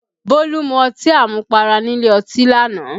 Bólú mu ọtí àmupara nílé ọtí lánàá